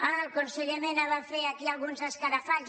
ah el conseller mena va fer aquí alguns escarafalls